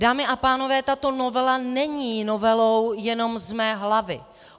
Dámy a pánové, tato novela není novelou jenom z mé hlavy.